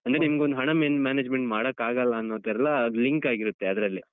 ಅಂದ್ರೆ ನಿಂಗೊಂದ್ ಒಂದ್ ಹಣ management ಮಾಡಕಾಗಲ್ಲ ಅನ್ನೋತರ ಎಲ್ಲ link ಆಗಿರುತ್ತೆ ಅದ್ರಲ್ಲೆ.